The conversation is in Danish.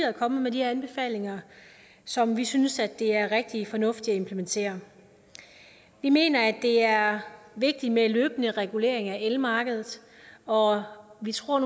er kommet med de her anbefalinger som vi synes det er rigtig fornuftigt at implementere vi mener at det er vigtigt med en løbende regulering af elmarkedet og vi tror